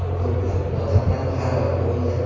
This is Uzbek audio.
Ko‘plab odamlar halok bo‘ldi.